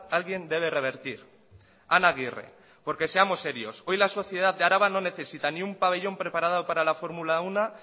alguien debe revertir ana aguirre porque seamos serios hoy la sociedad de araba no necesita ni un pabellón preparado para la